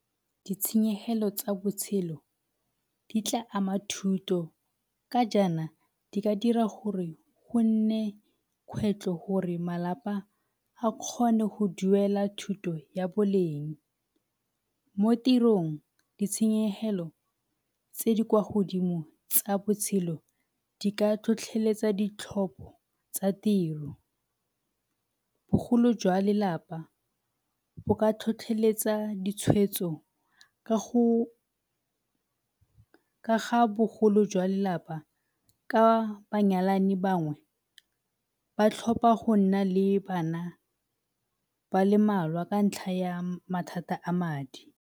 Ditshenyelo tsa botshelo di tla ama thuto ka jaana di ka dira gore go nne kgwetlho gore malapa a kgone go duela thuto ya boleng. Mo tirong, ditshenyegelo tse di kwa godimo tsa botshelo di ka tlhotlheletsa ditlhopho tsa tiro, bogolo jwa lelapa bo ka tlhotlheletsa ditshwetso ka go, ka ga bogolo jwa lelapa ka banyalani bangwe ba tlhopha go nna le bana ba le mmalwa ka ntlha ya mathata a madi.